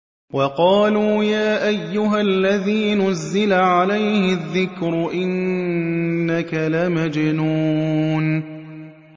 وَقَالُوا يَا أَيُّهَا الَّذِي نُزِّلَ عَلَيْهِ الذِّكْرُ إِنَّكَ لَمَجْنُونٌ